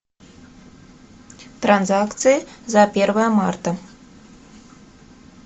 транзакции за первое марта